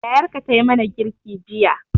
Yayarka tayi mana girki jiya